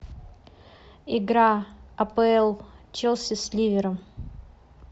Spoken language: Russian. игра апл челси с ливером